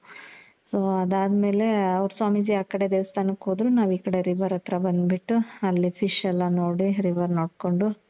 so ಅದಾದಮೇಲೆ ಅವ್ರು ಸ್ವಾಮೀಜಿ ಆ ಕಡೆ ದೇವಸ್ತಾನಕ್ಕೆ ಹೋದ್ರು. ನಾವು ಈ ಕಡೆ river ಹತ್ರ ಬಂದು ಬಿಟ್ಟು, ಅಲ್ಲಿ fish ಎಲ್ಲ ನೋಡಿ, river ನೋಡ್ಕೊಂಡು.